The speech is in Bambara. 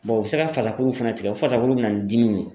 u bɛ se ka fasakuru fana tigɛ o fasakuru bɛ na ni dimiw ye.